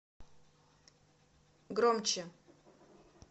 громче